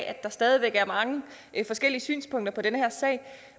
at der stadig væk er mange forskellige synspunkter i den her sag